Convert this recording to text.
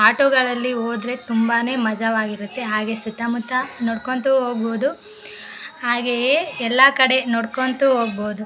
auto ಗಳಲ್ಲಿ ಹೋದ್ರೆ ತುಂಬಾನೇ ಮಜವಾಗಿರುತ್ತೆ ಹಾಗೆ ಸುತ್ತ ಮುತ್ತ ನೋಡ್ಕೊಂತ ಹೋಗ್ಬಹುದು ಹಾಗೆಯೆ ಎಲ್ಲ ಕಡೆ ನೋಡ್ಕೊಂತ ಹೋಗ್ಬಹುದು --